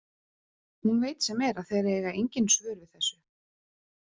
Hún veit sem er að þeir eiga engin svör við þessu.